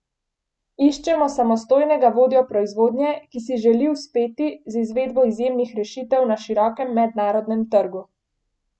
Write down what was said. Iščemo, samostojnega vodjo proizvodnje, ki si želi uspeti z izvedbo izjemnih rešitev na širokem mednarodnem trgu!